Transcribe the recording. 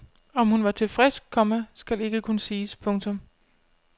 Om hun var tilfreds, komma skal ikke kunne siges. punktum